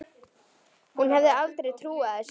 Hún hefði aldrei trúað þessu.